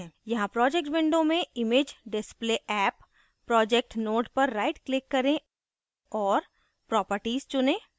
यहाँ project window में imagedisplayapp project node पर right click करें और properties चुनें